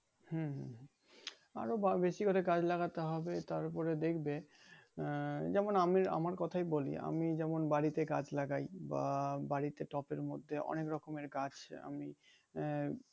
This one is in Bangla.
হুম হুম হুম আরো বাড় বেশি করে গাছ লাগাতে হবে তার উপরে দেখবে আহ যেমন আমি আমার কথাই বলি আমি যেমন বাড়িতে গাছ লাগাই বা বাড়িতে টপের মধ্যে অনেক রকমের গাছ আমি আহ